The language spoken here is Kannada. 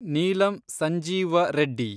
ನೀಲಂ ಸಂಜೀವ ರೆಡ್ಡಿ